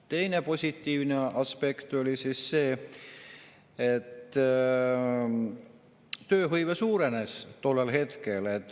Teine positiivne aspekt oli see, et tööhõive suurenes tollel hetkel.